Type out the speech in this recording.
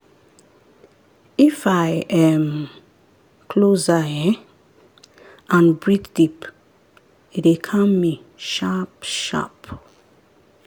if i um close eye um and breathe deep e dey calm me sharp-sharp.